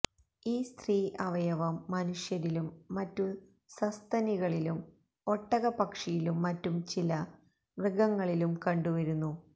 ഈ സ്ത്രീ അവയവം മനുഷ്യരിലും മറ്റു സസ്തനികളിലും ഒട്ടക പക്ഷിയിലും മറ്റു ചില മൃഗങ്ങളിലും കണ്ടു വരുന്നു